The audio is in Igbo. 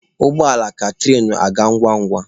Ụgbọ ala ka tụrain aga ngwa ngwa.